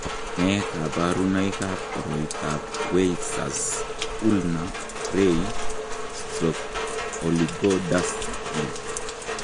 Nee kabarunoikab koriotoab Weyers ulnar ray/oligodactyly?